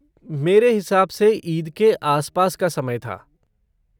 मेरे हिसाब से ईद के आसपास का समय था।